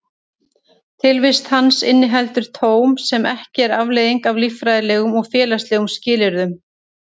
Tilvist hans inniheldur tóm sem ekki er afleiðing af líffræðilegum og félagslegum skilyrðum.